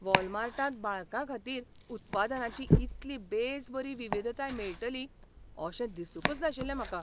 वॉलमार्टांत बाळकांखातीर उत्पादनांची इतली बेसबरी विविधताय मेळटली अशें दिसूंकच नाशिल्लें म्हाका.